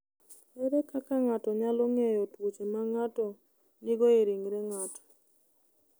Ere kaka ng’ato nyalo ng’eyo tuoche ma ng’ato nigo e ringre ng’ato?